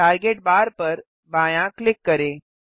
target bar पर बायाँ click करें